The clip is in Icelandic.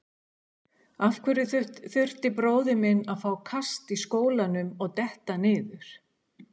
Af hverju þurfti bróðir minn að fá kast í skólanum og detta niður?